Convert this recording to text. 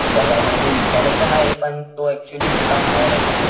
त्याला म्हणजे विचारायचं आहे पण तो ऍक्च्युली तोडा बाहेरे,